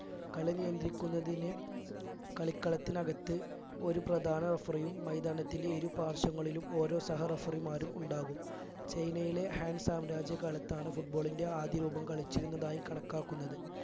കളി നിയന്ത്രിക്കുന്നതിന് കളിക്കളത്തിനകത്ത് ഒരു പ്രധാന referee യും മൈതാനത്തിന്റെ ഇരു പാർശങ്ങളിലും ഓരോ സഹ referee മാരും ഉണ്ടാകും ചൈനയിലെ ഹാൻ സാം രാജ്യകാലത്താണ് football ൻ്റെ ആദ്യ രൂപം കളിച്ചിരുന്നതായി കണക്കാക്കുന്നത്